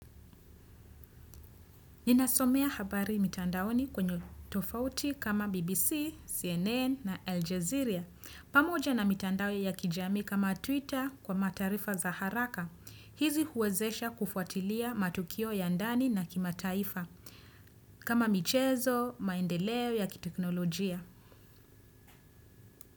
Ninasomea habari mitandaoni kwenye tovuti kama BBC, CNN na Aljazeera. Pamoja na mitandao ya kijami kama Twitter kwa mataarifa za haraka. Hizi huwezesha kufuatilia matukio ya ndani na kimataifa. Kama michezo, maendeleo ya kiteknolojia.